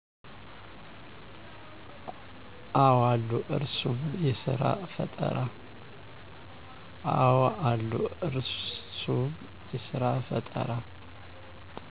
አወ አሉ እሩስም የስራፈጠራ